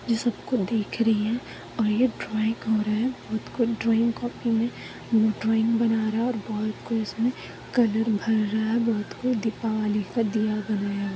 ये सबको देख रही है और ये ड्राइंग हो रहा है और कोई ड्राइंग कॉपी में ड्राइंग बना रहा है और कोई उसमे कलर भर रहा है भोत को दीपावली का दिया बनाया हुआ है।